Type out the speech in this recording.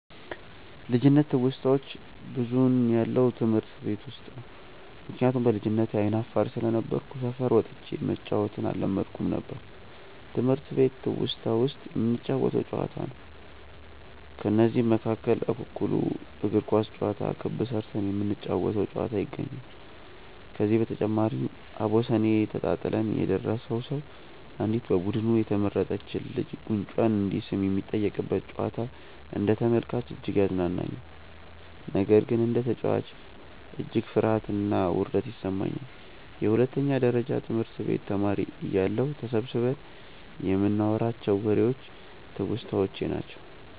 ልጅነት ትውስታዋች ብዙውን ያለው ትምህርት ቤት ውስጥ ነው። ምክንያቱም በልጅነቴ አይነ አፋር ስለነበርኩ ሰፈር ወጥቼ መጫዎትን አለመድኩም ነበር። ትምህርት ቤት ትውስታ ውስጥ የምንጫወተው ጨዋታ ነው። ከነዚህም መካከል እኩኩሉ፣ እግር ኳስ ጨዋታ፣ ክብ ስርተን የምንጫወ ተው ጨዋታ ይገኛሉ። ከዚህ በተጨማሪም አቦሰኔ ተጣጥለን የደረሰው ሰው አንዲት በቡዱኑ የተመረጥች ልጅን ጉንጯን እንዲስም የሚጠየቅበት ጨዋታ አንደ ተመልካች እጅግ ያዝናናኛል። ነገር ግን እንደ ተጨዋች እጅግ ፍርሀትና ውርደት ይሰማኛል። የሁለተኛ ደረጀ ትምህርት ቤት ተማሪ እያለሁ ተሰብስበን ይንናዋራቸው ዎሬዎች ትውስታዎቼ ናቸው።